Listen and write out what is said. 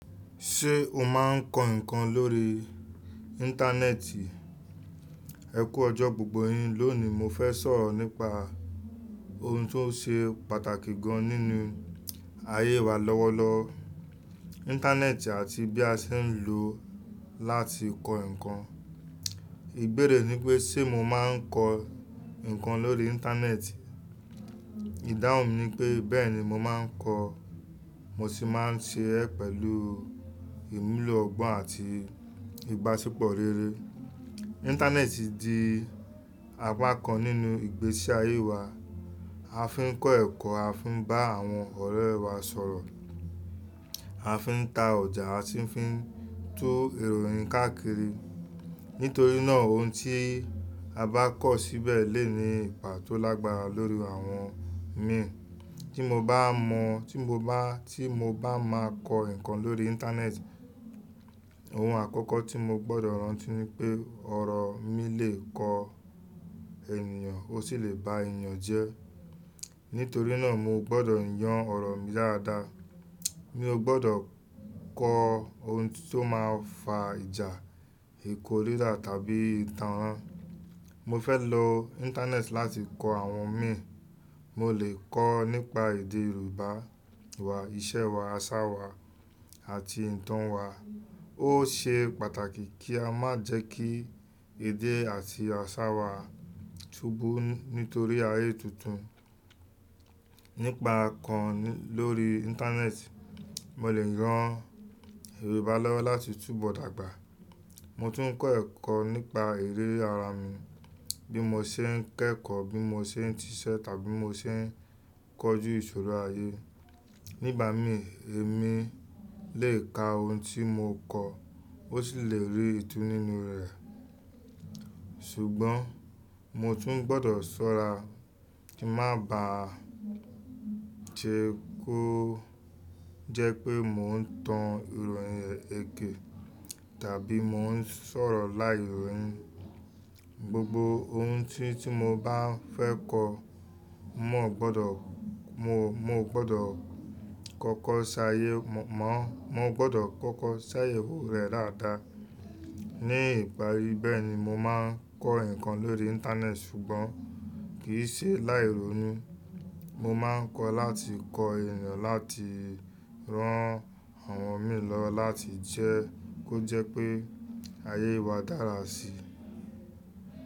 Ṣé o máa ń kọ nǹkan lórí Íńtánẹ́ẹ̀tì? Ẹ kú ọjọ́ gbogbo yin. Lónìí mo fẹ́ sọ̀rọ̀ nípa ohun tó ṣe pàtàkì gan nínú ayé wa lọ́wọ́lọ́wọ́, Íńtánẹ́ẹ̀tì àti bí a ṣe ń lò ó láti kọ́ nǹkan. Ìbéèrè ni pé ṣe mo máa ń kọ nǹkan lórí Íńtánẹ́ẹ̀tì? Ìdáhùn mi ni pé bẹ́ẹ̀ni mo máa ń kọ, mo sì máa ń ṣe é pẹ̀lú ìmùlò ọgbọ́n àti ìbáṣepọ̀ rere. Íńtánẹ́ẹ̀tì di apá kan nínú ìgbésí ayé wa. A fi ń kọ́ ẹ̀kọ́, a fi ń bá àwọn ọ̀rẹ́ wá sọ̀rọ̀, a fi ń ta ọjà, a sì fi ń tú ìròyìn káàkiri. Nítorí náà ohun tí a bá kọ̀ síbẹ̀ lè ní ipa tó lágbára lórí àwọn mìíràn. Tí mo bá mọ, tí mo bá, tí mo bá máa kọ nǹkan lórí Íńtánẹ́ẹ̀tì, ohun àkọ́kọ́ tí mo gbọdọ̀ rántí ni pé ọ̀rọ̀ mi lè kọ ènìyàn ó sì lè ba ènìyàn jẹ́. Nítorí náà mo gbọdọ̀ yàn ọ̀rọ̀ mi dáadáa. Mi ò gbọdọ̀ kọ ohun tó máa fa ìjà, ìkoríra tàbí ìtànrán. Mo fẹ́ lo Íńtánẹ́ẹ̀tì láti kọ àwọn mìíràn. Mo lè kọ nípa èdè Yorùbá wa, ìṣe wa, àṣà wa àti ìtàn wa. Ó ṣe pàtàkì kí a má jẹ́ kí èdè àti àṣà wa túbọ̀ nítorí ayé tuntun. Nípa kọ́nnì lórí Íńtánẹ́ẹ̀tì, mo lè yan Yorùbá lọ́wọ́ láti túbọ̀ dàgbà. Mo tún ń kọ́ ẹ̀kọ́ nípa eré ara mi, bí mo ṣe ń kẹ́kọ̀ọ́, bí mo ṣe ń ṣíṣe tàbí mo ṣe ń kojú ìṣòro ayé. Nígbà mí, èmi lè ka ohun tí mo kọ, ó sì lè rí ìtú nínú rẹ̀. Ṣùgbọ́n mo tún gbọdọ̀ ṣọ́ra kí má bà á jẹ́ kó jẹ́ pé mò ń tan ìròyìn èké tàbí mò ń sọ̀rọ̀ láìròyìn. Gbogbo ohun tí, tí mo bá fẹ́ kọ, mò gbọdọ̀, mo, mo gbọdọ̀ kọ́kọ́ ṣàyé, mọ̀ọ́, mo gbọdọ̀ kọ́kọ́ ṣàyẹ̀wò rẹ̀ dáadáa. Ní ìparí bẹ́ẹ̀ ni mo máa ń kọ nǹkan lórí Íńtánẹ́ẹ̀tì ṣùgbọ́n kì í ṣe láìròyìn. Mo máa ń kọ láti kọ ènìyàn, láti rán àwọn mìíràn lọ, láti jẹ́ kó jẹ́ pé ayé wa dára síi.